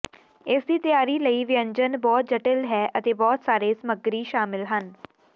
ਇਸਦੀ ਤਿਆਰੀ ਲਈ ਵਿਅੰਜਨ ਬਹੁਤ ਜਟਿਲ ਹੈ ਅਤੇ ਬਹੁਤ ਸਾਰੇ ਸਾਮੱਗਰੀ ਸ਼ਾਮਿਲ ਹਨ